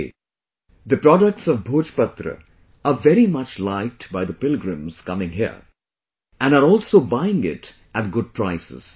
Today, the products of Bhojpatra are very much liked by the pilgrims coming here and are also buying it at good prices